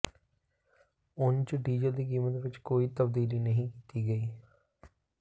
ਉਂਝ ਡੀਜ਼ਲ ਦੀ ਕੀਮਤ ਵਿੱਚ ਕੋਈ ਤਬਦੀਲੀ ਨਹੀਂ ਕੀਤੀ ਗਈ